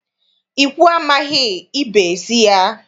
Ikwu amaghị, ibe ezi ya.